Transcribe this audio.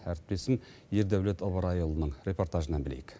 әріптесім ердәулет ыбырайұлының репортажынан білейік